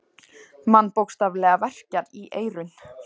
Mann bókstaflega verkjar í eyrun.